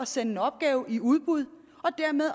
sende en opgave i udbud